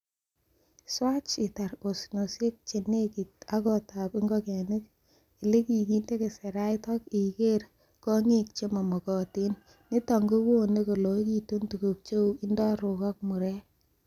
Swach itar osnosiek che nekityin ak gotab ingogenik, ele kikinde keserait ak igeer kong'iik che momokotin, niton kowone koloikitun tuguk cheu indorok ak murek.